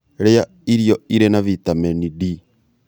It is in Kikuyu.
Rĩa irio irĩ na vitamini d